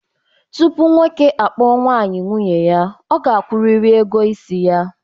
Tupu nwoke akpọọ nwaanyị nwunye ya, ọ ga-akwụrịrị ego isi ya.